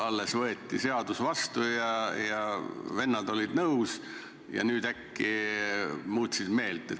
Alles võeti seadus vastu ja vennad olid nõus, aga nüüd äkki muutsid meelt.